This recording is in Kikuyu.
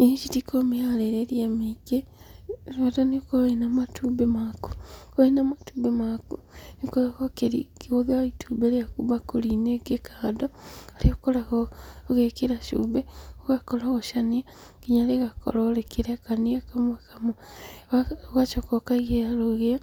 Irio ici itikoragwo mĩharĩrĩrie mĩingĩ, bata nĩũkorwo wĩna matumbĩ maku. Wĩna matumbĩ maku, nĩũkoragwo ũkĩgũthĩra itumbĩ rĩaku mbakũri-inĩ ĩngĩ kando, harĩa ũkoragwo ũgĩkĩra cumbĩ, ũgakorogocania, nginya rĩgakorwo rĩkĩrekania kamwe kamwe, ũgacoka ũkaigĩrĩra rũgĩo,